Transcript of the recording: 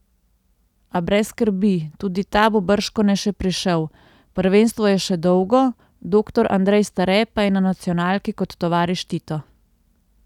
A brez skrbi, tudi ta bo bržkone še prišel, prvenstvo je še dolgo, doktor Andrej Stare pa je na nacionalki kot tovariš Tito.